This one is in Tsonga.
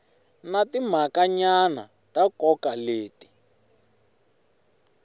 na timhakanyana ta nkoka leti